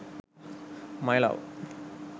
my love